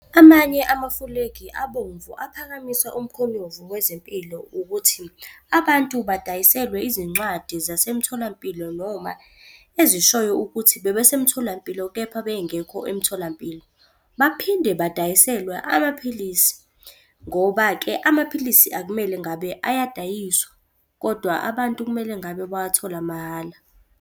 Amanye amafulegi abomvu aphakamisa umkhonyovu wezempilo ukuthi, abantu badayiselwe izincwadi zasemtholampilo noma ezishoyo ukuthi bebesemtholampilo kepha bengekho emtholampilo. Baphinde badayiselwa amaphilisi, ngoba-ke amaphilisi akumele ngabe ayadayiswa kodwa abantu kumele ngabe bewathola mahala.